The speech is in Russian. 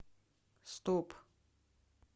стоп